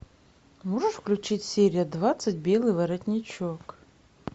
можешь включить серия двадцать белый воротничок